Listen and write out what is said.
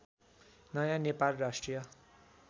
नयाँ नेपाल राष्ट्रिय